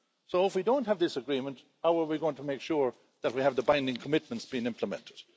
So if we don't have this agreement, how are we going to make sure that we have the binding commitments being implemented?